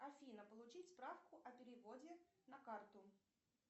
афина получить справку о переводе на карту